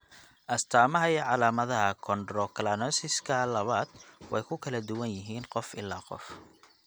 Astaamaha iyo calaamadaha chondrocalcinosika labad way ku kala duwan yihiin qof ilaa qof.